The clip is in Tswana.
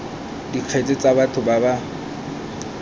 dikgetse tsa batho ba ba